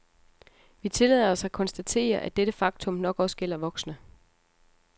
Vi tillader os at konstatere, at dette faktum nok også gælder voksne.